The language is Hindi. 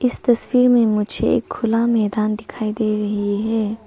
इस तस्वीर में मुझे एक खुला मैदान दिखाई दे रही है।